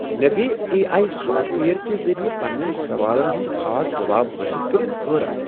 مےٚ گو٘ A I software کہ ذٔریعہٕ پنٛنین سوالن ہنٛد خاص جواب حٲصل کٔرتھ حٲرتھ۔